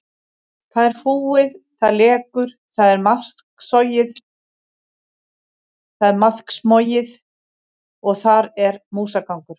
Það er fúið, það lekur, það er maðksmogið og þar er músagangur.